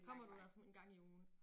Kommer du der sådan en gang i ugen?